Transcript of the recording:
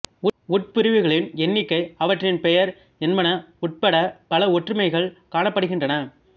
உட்பிரிவுகளின் எண்ணிக்கை அவற்றின் பெயர் என்பன உட்படப் பல ஒற்றுமைகள் காணப்படுகின்றன